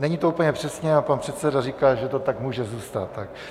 Není to úplně přesně, ale pan předseda říká, že to tak může zůstat.